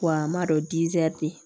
Wa an m'a dɔn